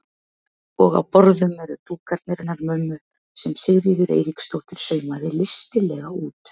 Og á borðum eru dúkarnir hennar mömmu sem Sigríður Eiríksdóttir saumaði listilega út.